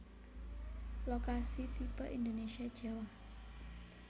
Lokasi tipe Indonesia Jawa